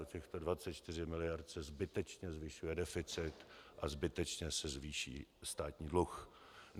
O těchto 24 mld. se zbytečně zvyšuje deficit a zbytečně se zvýší státní dluh.